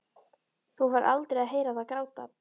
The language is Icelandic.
Þú færð aldrei að heyra það gráta.